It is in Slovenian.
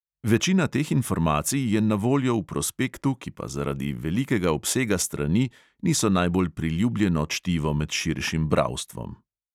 Večina teh informacij je na voljo v prospektu, ki pa zaradi velikega obsega strani niso najbolj priljubljeno čtivo med širšim bralstvom.